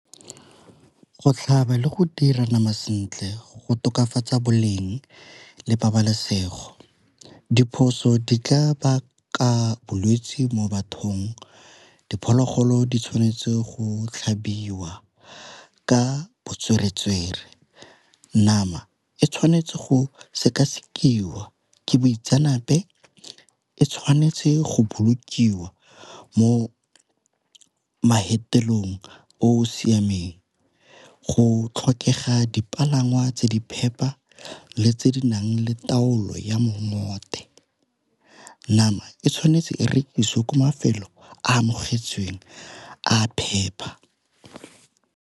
Go tlhaba le go dira nama sentle go tokafatsa boleng le pabalesego. Diphoso di tla baka bolwetsi mo bathong diphologolo di tshwanetse go tlhabiwa ka . Nama e tshwanetse go sekasekiwa ke boitseanape e tshwanetse go bolokiwa mo o o siameng go tlhokega dipalangwa tse di phepa le tse di nang le taolo ya . Nama e tshwanetse e rekisiwe ka mafelo a amogetsweng a phepa.